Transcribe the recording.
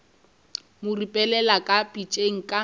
mo ripelela ka pitšeng ka